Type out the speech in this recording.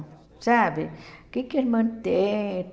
Sabe? O que que a irmã tem?